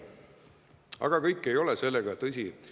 Aga kõik ei ole sellega, tõsi, nõus.